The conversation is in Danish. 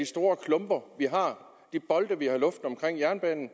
store klumper de bolde vi har i luften omkring jernbanen